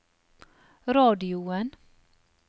radioen